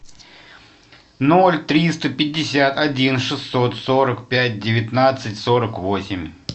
ноль триста пятьдесят один шестьсот сорок пять девятнадцать сорок восемь